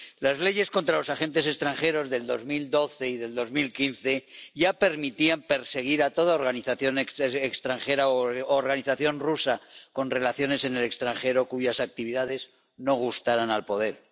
Las leyes contra los agentes extranjeros de 2012 y de 2015 ya permitían perseguir a toda organización extranjera u organización rusa con relaciones en el extranjero cuyas actividades no gustaran al poder.